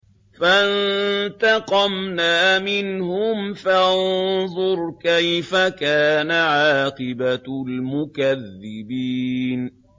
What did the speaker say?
فَانتَقَمْنَا مِنْهُمْ ۖ فَانظُرْ كَيْفَ كَانَ عَاقِبَةُ الْمُكَذِّبِينَ